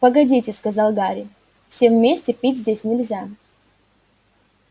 погодите сказал гарри всем вместе пить здесь нельзя